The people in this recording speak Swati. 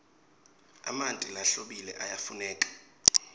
emanti lahlobile ayafuneka